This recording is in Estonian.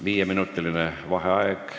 Viieminutiline vaheaeg.